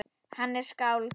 Hann er skáld.